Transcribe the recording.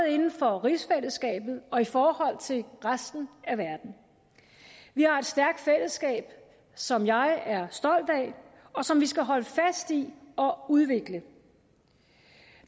inden for rigsfællesskabet og i forhold til resten af verden vi har et stærkt fællesskab som jeg er stolt af og som vi skal holde fast i og udvikle